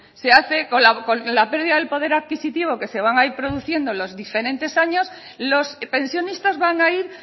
se hace con la pérdida del poder adquisitivo que se va a ir produciendo en los diferentes años los pensionistas van a ir